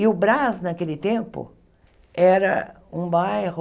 E o Brás, naquele tempo, era um bairro